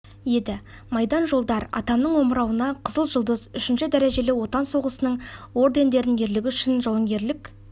еді майдан жолдар атамның омырауына қызыл жұлдыз үшінші дәрежелі отан соғысының ордендерін ерлігі үшін жауынгерлік